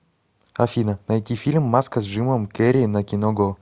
афина найти фильм маска с джимом керри на кино го